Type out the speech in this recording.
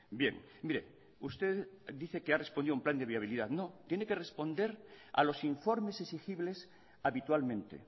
bien mire usted dice que ha respondido a un plan de viabilidad no tiene que responder a los informes exigibles habitualmente